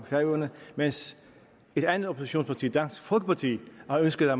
færøerne mens et andet oppositionsparti dansk folkeparti har ønsket at